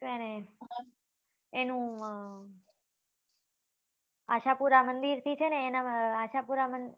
છે ને એનું આશાપુરા મંદિર થી છે ને એના આશાપુરા મંદિર